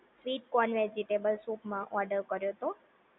sweet corn vegetable soup માં order કર્યો તો